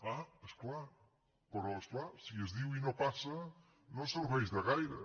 ah però és clar si es diu i no passa no serveix de gaire